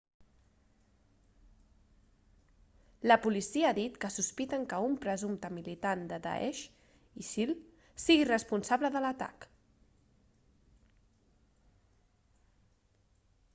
la policia ha dit que sospiten que un presumpte militant de daesh isil sigui responsable de l'atac